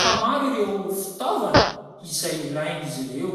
ka maro ireo fitaovana izay ilain' izy ireo.